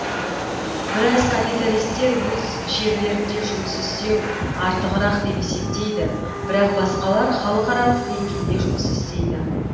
біраз капиталистер өз жерлерінде жұмыс істеу артығырақ деп есептейді бірақ басқалар халықаралық деңгейде жұмыс істейді